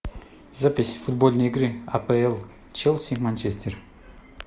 запись футбольной игры апл челси и манчестер